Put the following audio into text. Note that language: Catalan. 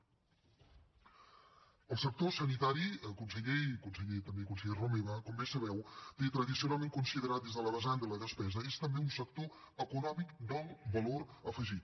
el sector sanitari conseller i també conseller romeva com bé sabeu té tradicionalment considerar des de la vessant de la despesa que és també un sector econòmic d’alt valor afegit